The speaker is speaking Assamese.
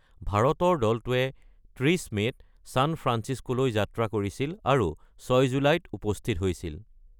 ভাৰতৰ দলটোৱে ৩০ মে'ত চান ফ্ৰান্সিস্কোলৈ যাত্ৰা কৰিছিল আৰু ৬ জুলাইত উপস্থিত হৈছিল।